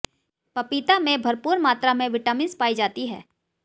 पपीता में भरपूर मात्रा में विटामिन्स पाई जाती है